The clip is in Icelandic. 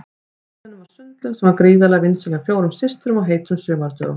Í garðinum var sundlaug sem var gríðarlega vinsæl hjá fjórum systrum á heitum sumardögum.